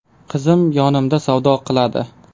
Qizim yonimda savdo qiladi.